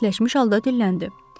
Kral sakitləşmiş halda dilləndi: